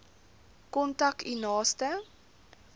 kontak u naaste